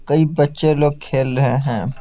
कई बच्चे लोग खेल रहे हैं।